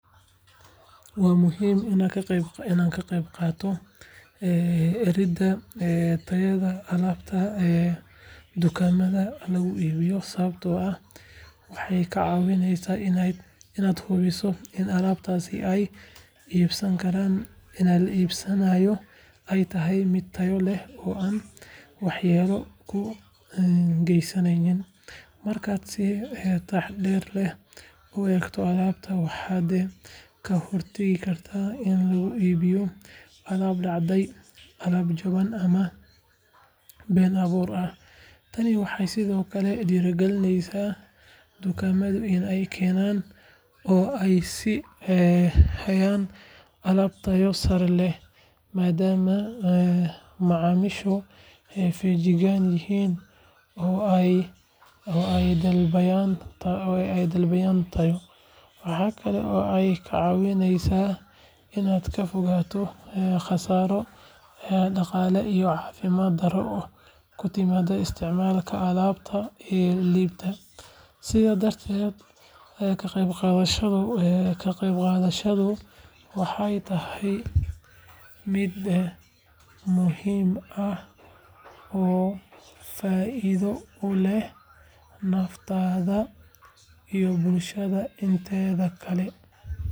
Waa muhiim inaad ka qaybqaadato eegidda tayada alaabta dukaamada lagu iibiyo sababtoo ah waxay kaa caawinaysaa inaad hubiso in alaabtii aad iibsanayso ay tahay mid tayo leh oo aan waxyeello kuu geysanayn. Markaad si taxaddar leh u eegto alaabta, waxaad ka hortegi kartaa in laguu iibiyo alaab dhacay, jaban, ama been abuur ah. Tani waxay sidoo kale dhiirrigelinaysaa dukaamadu in ay keenaan oo ay sii hayaan alaab tayo sare leh, maadaama macaamiishu feejigan yihiin oo ay dalbanayaan tayo. Waxa kale oo ay kaa caawinaysaa inaad ka fogaato khasaaro dhaqaale iyo caafimaad darro ku timaadda isticmaalka alaab tayo liidata. Sidaa darteed, ka qaybqaadashadaada waxay tahay mid muhiim ah oo faa'iido u leh naftaada iyo bulshada inteeda kale.